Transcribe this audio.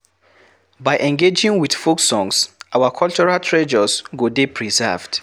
By engaging with folk songs our cultural treasures go dey preserved